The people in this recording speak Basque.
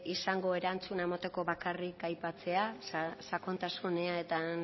izango erantzuna emoteko bakarrik aipatzea sakontasunean